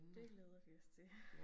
Det glæder vi os til